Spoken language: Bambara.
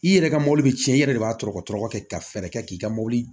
I yɛrɛ ka mɔbili bi cɛn i yɛrɛ de b'a tɔ tɔɔrɔtɔ ka fɛɛrɛ kɛ k'i ka mobili